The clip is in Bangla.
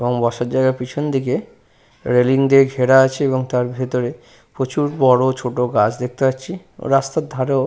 এবং বসার জায়গার পেছন দিকে রেলিং দিয়ে ঘেরা আছে এবং তার ভেতরে প্রচুর বড় ছোট গাছ দেখতে পাচ্ছি।